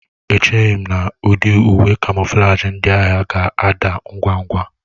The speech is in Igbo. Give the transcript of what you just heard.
Echeghị m na ụdị uwe kamoflaji ndị agha ga-ada ngwa ngwa